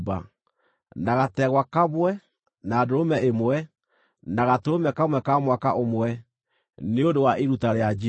na gategwa kamwe, na ndũrũme ĩmwe, na gatũrũme kamwe ka mwaka ũmwe, nĩ ũndũ wa iruta rĩa njino;